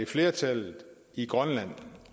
flertallet i grønland